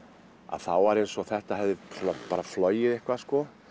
þá var eins og þetta hefði flogið eitthvað